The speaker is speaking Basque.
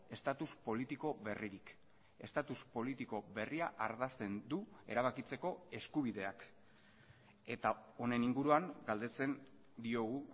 estatus politiko berririk estatus politiko berria ardazten du erabakitzeko eskubideak eta honen inguruan galdetzen diogu